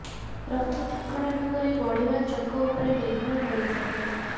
ରଥ ଠିକଣା ଢଙ୍ଗରେ ଗଡିବା ଚକ ଉପରେ ନିର୍ଭର କରିଥାଏ